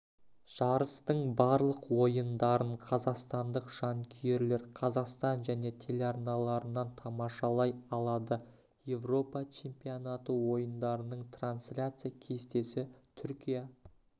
жарыстың барлық ойындарын қазақстандық жанкүйерлер қазақстан және телеарналарынан тамашалай алады еуропа чемпионаты ойындарының трансляция кестесі түркия